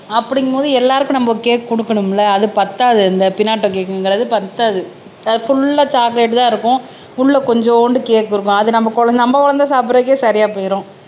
அப்படிங்கும்போது எல்லாருக்கும் நம்ம கேக் குடுக்கணும்ல அது பத்தாது இந்த பினாடோ கேக்ங்கிறது பத்தாது புல்லா சாக்லேட் தான் இருக்கும் உள்ள கொஞ்சூண்டு கேக் இருக்கும் அது நம்ம குழந்தை நம்ம குழந்தை சாப்பிடுறதுக்கே சரியா போயிடும்